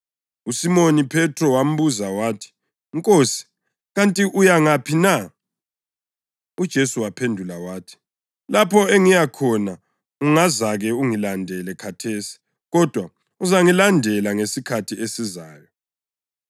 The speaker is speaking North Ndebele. USimoni Phethro wambuza wathi, “Nkosi, kanti uya ngaphi na?” UJesu waphendula wathi, “Lapho engiyakhona ungazake ungilandele khathesi kodwa uzangilandela ngesikhathi esizayo.”